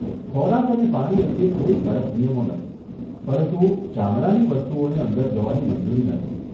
ખોરાક અને પાણી અંગે કોઈ કડક નિયમો નથી પરંતુ ચામડાની વસ્તુઓને અંદર જવાની મંજૂરી નથી.